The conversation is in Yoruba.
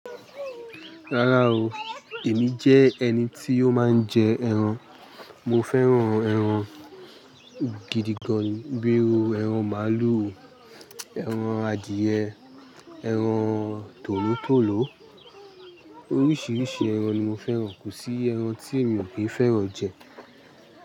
Rárá o, èmi jẹ́ ẹni tí ó máa ń jẹ ẹran. Mo fẹ́ràn ẹran gidi gan ni. Bíi ẹran màálù, ẹran adìẹ, ẹran tòlótòló. Oríṣiríṣi ẹran ni mo fẹ́ràn. Kò sí ẹran tí èmi ò kí fẹ́ràn jẹ.